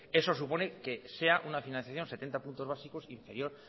eso supone que sea una financiación setenta puntos básicos inferior